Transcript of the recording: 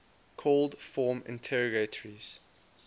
called form interrogatories